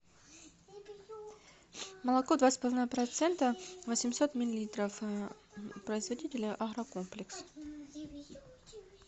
молоко два с половиной процента восемьсот миллилитров производитель агрокомплекс